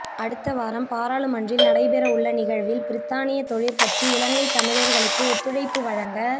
அடுத்த வாரம் பாராளுமன்றில் நடைபெறவுள்ள நிகழ்வில் பிரித்தானிய தொழிற்கட்சி இலங்கைத் தமிழர்களுக்கு ஒத்துழைப்பு வழங்க